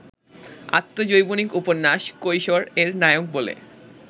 আত্মজৈবনিক উপন্যাস কৈশোর-এর নায়ক বলে